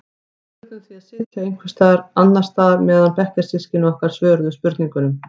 Við urðum því að sitja einhvers staðar annars staðar meðan bekkjarsystkini okkar svöruðu spurningunum.